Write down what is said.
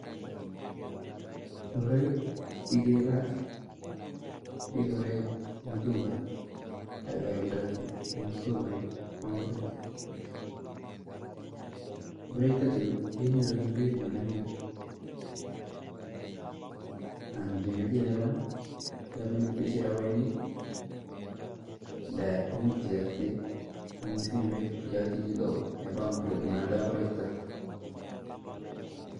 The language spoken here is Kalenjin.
Ngoroik chi kikelach kekuree mtumba, ak keoldoi in sokoit chepa ngoroi, ngoroik chutachu kenyuru in peit nemi ng'weny ,ang kimeche ilapi ilipani ipaishe rabinik nda much iakte ing simeit iachi chito neoldoi ngoroik chuta